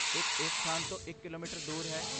ਇੱਕ ਇਸ ਸਥਾਨ ਤੋਂ ਇਕ ਕਿਲੋਮੀਟਰ ਦੂਰ ਹੈ